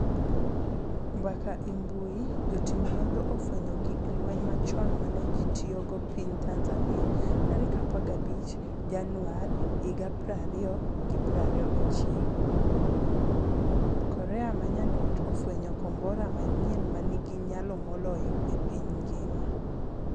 mbaka e mbui jotim nonro ofwenyo gig lweny machon mane ji tiyogo piny Tanzania 15 Januari 2021. Korea Manyandwat ofwenyo kombora manyien manigi nyalo moloyo e piny ngima'